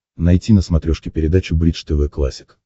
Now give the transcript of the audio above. найти на смотрешке передачу бридж тв классик